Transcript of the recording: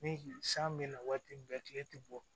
Ni san bɛ na waati min kɛ tile tɛ bɔ